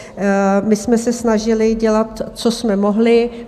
My jsme se snažili dělat, co jsme mohli.